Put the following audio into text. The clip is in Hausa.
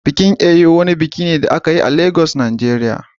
Bikin Eyo wani biki ne da aka yi a Lagos Nigeria